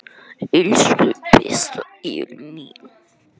Elsku besta Elín mín.